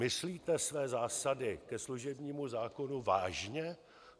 Myslíte své zásady ke služebnímu zákonu vážně?